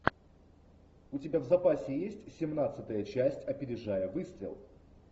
у тебя в запасе есть семнадцатая часть опережая выстрел